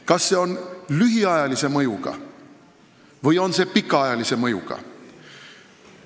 Kas see on lühiajalise mõjuga või pikaajalise mõjuga?